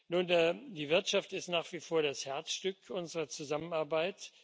Nun, die Wirtschaft ist nach wie vor das Herzstück unserer Zusammenarbeit.